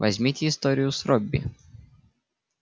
возьмите историю с робби